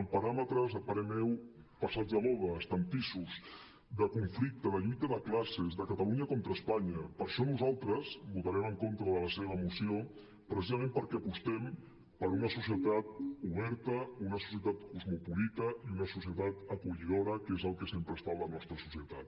amb paràmetres a parer meu passats de moda estantissos de conflicte de lluita de classes de catalunya contra espanya per això nosaltres votarem en contra de la seva moció precisament perquè apostem per una societat oberta una societat cosmopolita i una societat acollidora que és el que sempre ha estat la nostra societat